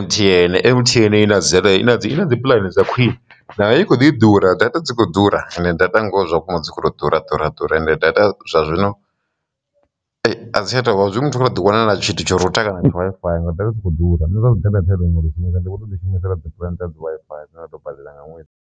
M_T_N, M_T_N i na dzi i na dzi puḽani dza khwiṋe nayo i kho ḓi ḓura data dzi kho ḓura ende data ngo zwa vhukuma dzi khou to ḓura ḓura ḓura ende data zwa zwino a dzi tsha tou zwi muthu kha tou ḓi wanela tshithu tsho ri u ṱangana ha Wi-Fi nga data dzi ḓura ha data ndi vho to ḓi shumese ra ḓo ita dzi Wi-Fi ndo tou badela nga ṅwedzi.